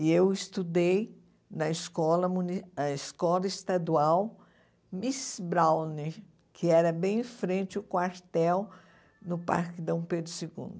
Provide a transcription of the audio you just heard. E eu estudei na escola muni a escola estadual Miss Browning, que era bem em frente o quartel, no Parque Dom Pedro Segundo.